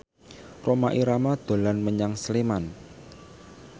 Rhoma Irama dolan menyang Sleman